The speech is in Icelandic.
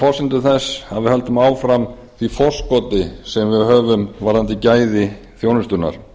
forsendum þess að við höldum áfram því forskoti sem við höfum varðandi gæði þjónustunnar